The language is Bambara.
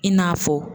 I n'a fɔ